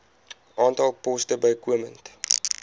aantal poste bykomend